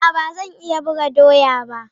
A'a, ba zan iya buga doya ba